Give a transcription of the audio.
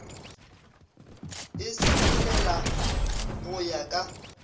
e sepelela go ya ka